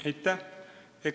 Aitäh!